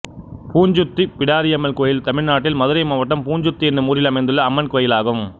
பூஞ்சுத்தி பிடாரியம்மள் கோயில் தமிழ்நாட்டில் மதுரை மாவட்டம் பூஞ்சுத்தி என்னும் ஊரில் அமைந்துள்ள அம்மன் கோயிலாகும்